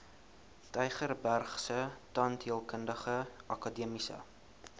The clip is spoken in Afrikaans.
tygerbergse tandheelkundige akademiese